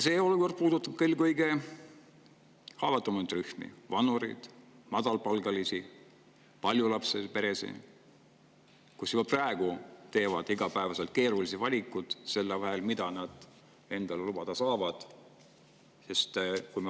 See olukord puudutab eelkõige kõige haavatavamaid rühmi: vanureid, madalapalgalisi, paljulapselisi peresid, kes juba praegu teevad iga päev keerulisi valikuid selle vahel, mida nad endale lubada saavad.